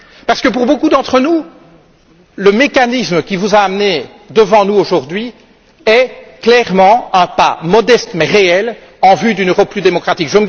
Parce que pour beaucoup d'entre nous, le mécanisme qui vous a amené devant nous, aujourd'hui, est clairement un pas modeste mais réel en vue d'une Europe plus démocratique.